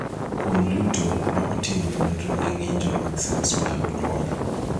kuom duto, ma oting'o nonro ne ng'injo mag cels mag nyuol